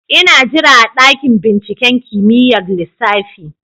Ina jira a dakin binciken kimiyyar lissafi